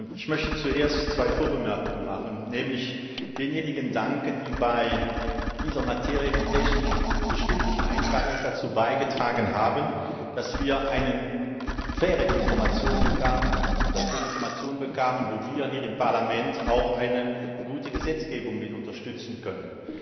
Ich möchte zuerst zwei Vorbemerkungen machen nämlich denjenigen danken, die bei dieser Materie, die technisch bestimmt nicht einfach ist, dazu beigetragen haben, dass wir eine faire Information bekamen und dass wir Informationen bekamen, mit denen wir hier im Parlament auch eine gute Gesetzgebung unterstützen können.